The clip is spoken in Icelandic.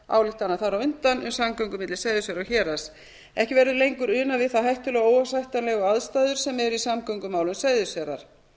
ályktanir þar á undan um samgöngubætur milli seyðisfjarðar og héraðs ekki verður lengur unað við þær hættulegu og óásættanlegu aðstæður sem eru í samgöngumálum seyðisfjarðar